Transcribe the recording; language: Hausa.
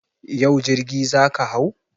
Yau jirgi za ka hau?